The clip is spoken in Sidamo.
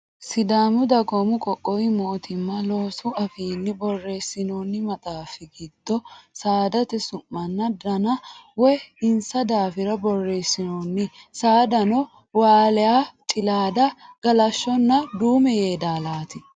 Sidaamu dagoomi qoqqowi mootimma loosu afiinni borreessinoonni maxaaffi giddo saadate su'manna Dana woyi insa daafira borreessinoonni. Saadano waaliya cilaada galashshonna duume yeedaalaati.